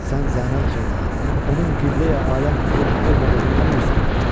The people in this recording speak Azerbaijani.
Sən zənn elə, onun Qibləyi aləm olub olmadığını nə bilirsən?